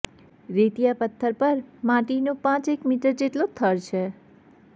રેતીયાં પથ્થર પર માટીનો પાંચેક મીટર જેટલો થર છે